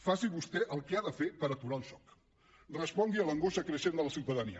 faci vostè el que ha de fer per aturar el joc respongui a l’angoixa creixent de la ciutadania